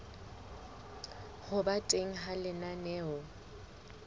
ho ba teng ha lenaneo